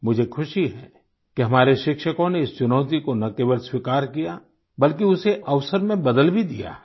मुझे ख़ुशी है कि हमारे शिक्षकों ने इस चुनौती को न केवल स्वीकार किया बल्कि उसे अवसर में बदल भी दिया है